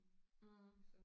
Mh